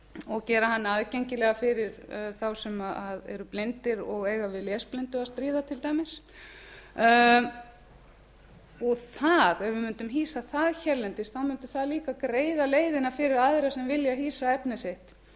og gera hana aðgengilega fyrir þá sem eru blindir og eiga við lesblindu að stríða til dæmis ef við mundum hýsa það hérlendis þá mundi það líka greiða leiðina fyrir aðra sem vilja hýsa efni sitt